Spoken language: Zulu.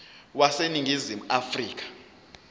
wase ningizimu afrika